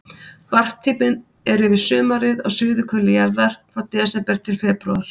Varptíminn er yfir sumarið á suðurhveli jarðar, frá desember til febrúar.